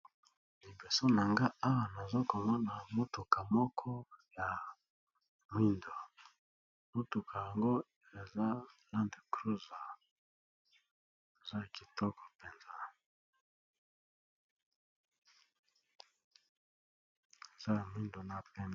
Liboso nangai Awa nazokomona mutuka moko ya muyindo na pembe eza kitoko penza.